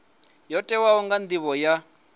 yo tikwaho nga nivho ya